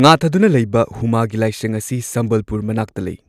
ꯉꯥꯊꯗꯨꯅ ꯂꯩꯕ ꯍꯨꯃꯥꯒꯤ ꯂꯥꯏꯁꯪ ꯑꯁꯤ ꯁꯝꯕꯜꯄꯨꯔ ꯃꯅꯥꯛꯇ ꯂꯩ꯫